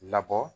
Labɔ